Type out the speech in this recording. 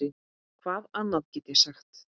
Hvað annað get ég sagt?